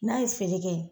N'a ye feere kɛ